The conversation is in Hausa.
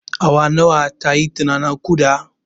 Awa nawa tayi tana naƙuda?